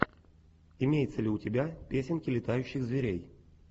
имеется ли у тебя песенки летающих зверей